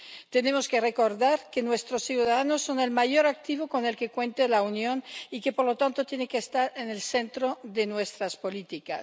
Tenemos que recordar que nuestros ciudadanos son el mayor activo con el que cuenta la Unión y que, por lo tanto, tienen que estar en el centro de nuestras políticas.